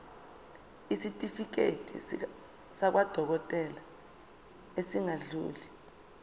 isitifiketi sakwadokodela esingadluli